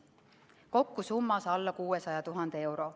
Kokku summas alla 600 000 euro.